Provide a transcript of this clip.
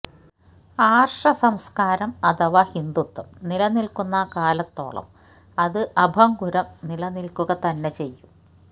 ആര്ഷസംസ്ക്കാരം അഥവാ ഹിന്ദുത്വം നിലനില്ക്കുന്ന കാലത്തോളം അത് അഭംഗുരം നിലനില്ക്കുക തന്നെ ചെയ്യും